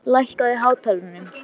Hilmar, lækkaðu í hátalaranum.